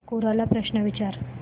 कोरा ला प्रश्न विचार